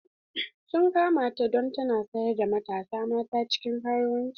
Sun kama ta don tana sayar da matasa mata cikin karuwanci.